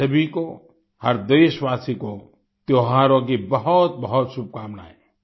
आप सभी को हर देशवासी को त्यौहारों की बहुतबहुत शुभकामनाएँ